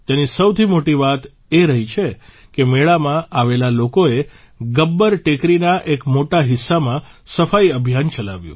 તેની સૌથી મોટી વાત એ રહી કે મેળામાં આવેલા લોકોએ ગબ્બર ટેકરીના એક મોટા હિસ્સામાં સફાઇ અભિયાન ચલાવ્યું